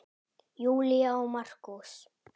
Júlía og Markús.